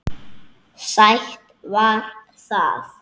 Sætt var það.